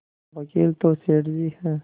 कहावकील तो सेठ जी हैं